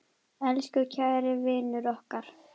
Elsku kæri vinur okkar.